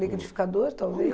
Liquidificador, talvez?